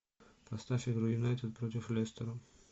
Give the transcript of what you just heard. поставь игру юнайтед против лестера